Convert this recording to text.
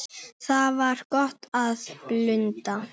Þar var gott að blunda.